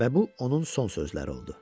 Və bu onun son sözləri oldu.